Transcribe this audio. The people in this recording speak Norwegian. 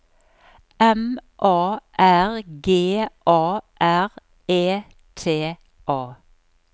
M A R G A R E T A